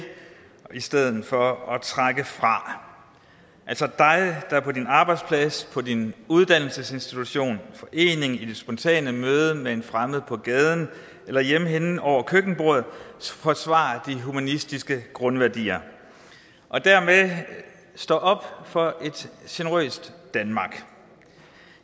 i stedet for at trække fra altså dig der på din arbejdsplads på din uddannelsesinstitution i din forening i det spontane møde med en fremmed på gaden eller hjemme hen over køkkenbordet forsvarer de humanistiske grundværdier og dermed står op for et generøst danmark